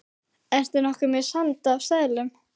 Ertu nokkuð með sand af seðlum.